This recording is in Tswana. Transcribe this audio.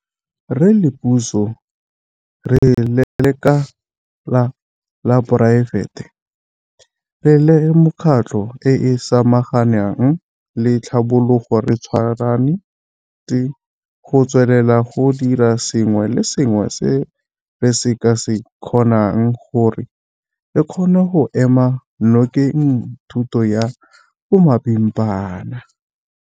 Re le puso, re le lekala la poraefete, re le mekgatlho e e samaganang le tlhabologo re tshwanetse go tswelela go dira sengwe le sengwe se re ka se kgonang gore re kgone go ema nokeng thuto ya bomapimpana.